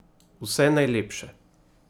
Vse najlepše!